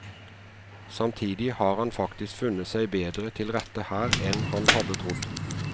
Samtidig har han faktisk funnet seg bedre til rette her enn han hadde trodd.